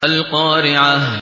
الْقَارِعَةُ